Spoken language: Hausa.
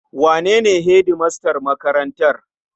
Wane ne hedimastan makarantar?